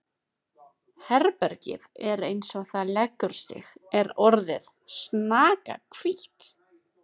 Herbergið eins og það leggur sig er orðið snakahvítt!